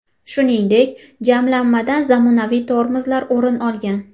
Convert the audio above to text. Shuningdek, jamlanmadan zamonaviy tormozlar o‘rin olgan.